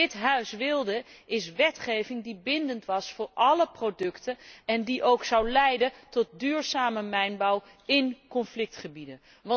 Wat dit Huis wilde, is wetgeving die bindend was voor álle producten en die ook zou leiden tot duurzame mijnbouw in conflictgebieden.